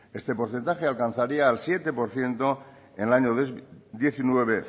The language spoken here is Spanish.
este porcentaje alcanzaría el siete por ciento en el año dos mil diecinueve